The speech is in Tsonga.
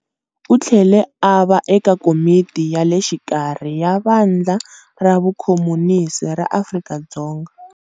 U tlhele a va eka Komiti ya le Xikarhi ya Vandla ra Vukhomunisi ra Afrika-Dzonga.